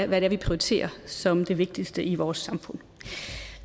hvad vi prioriterer som det vigtigste i vores samfund